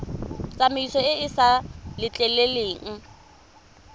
tsamaiso e e sa letleleleng